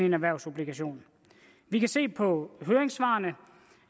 en erhvervsobligation vi kan se på høringssvarene